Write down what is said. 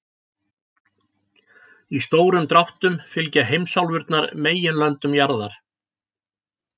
Í stórum dráttum fylgja heimsálfurnar meginlöndum jarðar.